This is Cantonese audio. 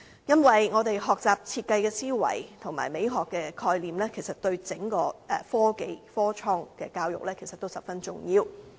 因為我們學習設計的思維及美學的概念，其實對整個科技、創科教育都十分重要。